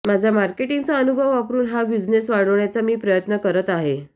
माझा मार्केटिंगचा अनुभव वापरून हा बिझनेस वाढवण्याचा मी प्रयत्न करत आहे